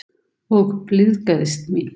Og blygðaðist mín.